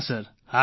હા સર